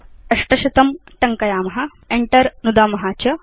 800 टङ्कयाम Enter नुदाम च